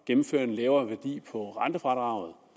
gennemføre en lavere værdi på rentefradraget